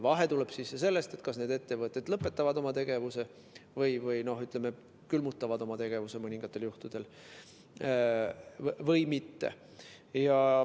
Vahe tuleb sisse sellest, kas need ettevõtted lõpetavad või mõningatel juhtudel külmutavad oma tegevuse või mitte.